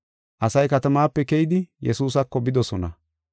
Asay katamaape keyidi Yesuusako bidosona.